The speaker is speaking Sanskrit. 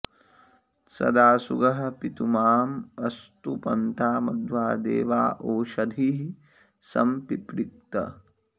सदा सुगः पितुमाँ अस्तु पन्था मध्वा देवा ओषधीः सं पिपृक्त